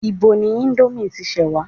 Ibo ni ìndòmí ti ṣẹ wa?